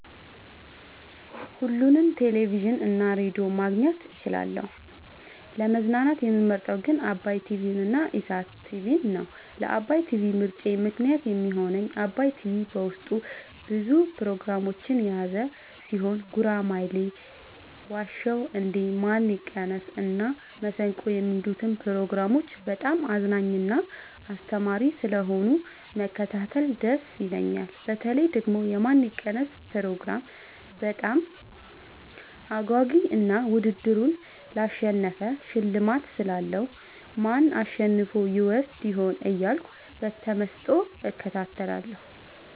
ሁሉንም ቴሌቪዥን እና ሬዲዮ ማግኘት እችላለሁ: : ለመዝናናት የምመርጠዉ ግን ዓባይ ቲቪንና ኢሣት ቲቪን ነዉ። ለዓባይ ቲቪ ምርጫየ ምክንያት የሚሆነኝ ዓባይ ቲቪ በዉስጡ ብዙ ፕሮግራሞችን የያዘ ቲሆን ጉራማይሌ የዋ ዉ እንዴ ማን ይቀነስ እና መሠንቆ የሚሉትን ፕሮግራሞች በጣም አዝናኝና አስተማሪ ስለሆኑ መከታተል ደስ ይለኛል። በተለይ ደግሞ የማን ይቀነስ ፕሮግራም በጣም አጓጊ እና ዉድድሩን ላሸነፈ ሽልማት ስላለዉ ማን አሸንፎ ይወስድ ይሆን እያልኩ በተመስጦ እከታተላለሁ።